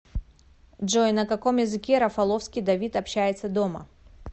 джой на каком языке рафаловский давид общается дома